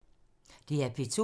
DR P2